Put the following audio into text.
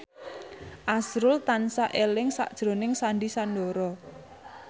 azrul tansah eling sakjroning Sandy Sandoro